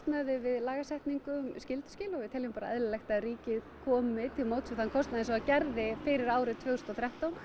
lagasetningu við skylduskil og við teljum eðlilegt að ríkið komi til móts við þann kostnað eins og það gerði fyrir árið tvö þúsund og þrettán